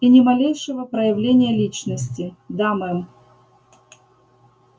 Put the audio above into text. и ни малейшего проявления личности да мэм